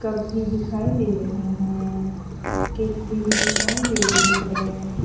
Cup भी दिखाई दे रहे हैं केतली भी दिखाई दे रही है।